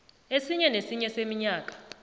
esinye nesinye seminyaka